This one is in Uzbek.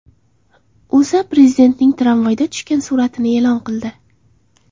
O‘zA Prezidentning tramvayda tushgan suratini e’lon qildi .